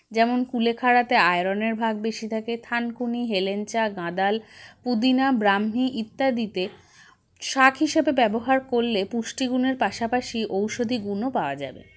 যেমন কুলেখাড়াতে iron -এর ভাগ বেশি থাকে থানকুনি হেলেঞ্চা গাঁদাল পুদিনা ব্রাহ্মি ইত্যাদিতে শাক হিসেবে ব্যবহার করলে পুষ্টিগুনের পাশাপাশি ঔষধিগুণও পাওয়া যাবে